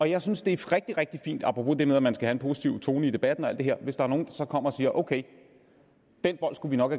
jeg synes det er rigtig rigtig fint apropos det med at man skal have en positiv tone i debatten og alt det her hvis der er nogle der så kommer og siger ok den bold skulle vi nok